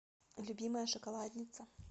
любимая шоколадница